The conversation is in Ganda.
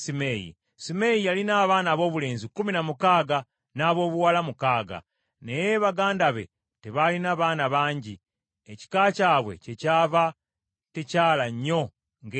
Simeeyi yalina abaana aboobulenzi kumi na mukaaga n’aboobuwala mukaaga, naye baganda be tebalina baana bangi, ekika kyabwe kyekyava tekyala nnyo ng’ekya Yuda.